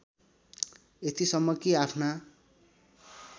यतिसम्म कि आफ्ना